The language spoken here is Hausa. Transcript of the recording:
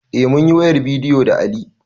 Eh munyi wayar bidiyo da Ali